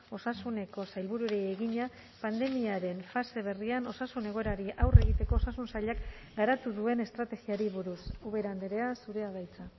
osasuneko sailburuari egina pandemiaren fase berrian osasun egoerari aurre egiteko osasun sailak garatu duen estrategiari buruz ubera andrea zurea da hitza